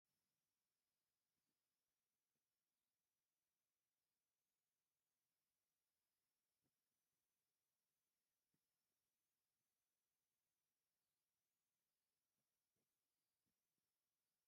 ስርዓተ ጥምቀት ካብቶም ኣብ ኢትዮጵያ ኦርቶዶክስ ቤተክርስቲያን ካብ ዝካየዱ ስነ ስርዓታት እቲ ሓደ እዩ። ኣብ ኦርቶዶክስ ተዋህዶ ቤተክርስቲያን ወዲ ብ40 መዓልትን ጋል ኣንስትየቲ ብ80 መዓልታን ይጥመቑ።